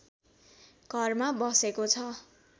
घरमा बसेको छ